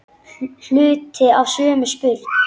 Hluti af sömu spurn.